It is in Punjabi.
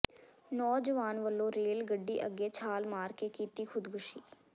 ਨੌਜਵਾਨ ਵਲੋਂ ਰੇਲ ਗੱਡੀ ਅੱਗੇ ਛਾਲ ਮਾਰ ਕੇ ਕੀਤੀ ਖੁਦਕੁਸ਼ੀ